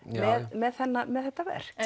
með með þetta verk